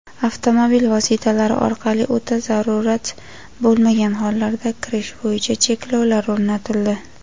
avtomobil) vositalari orqali o‘ta zarurat bo‘lmagan hollarda kirish bo‘yicha cheklovlar o‘rnatildi;.